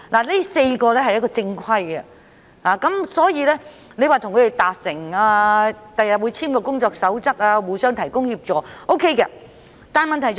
這4家是正規的機構，所以當局與他們達成共識，日後會草擬一份工作守則，互相提供協助，這樣也是可行的做法。